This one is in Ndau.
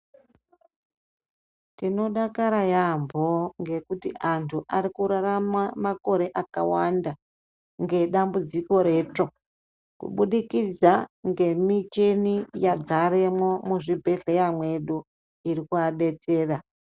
Tinodakara yaambo ngekuti antu arikurarama makore akawanda ngedambudziko retsvo kubudikidza ngemicheni yadzaremwo muzvibhehleya mwedu iri kuabetsera.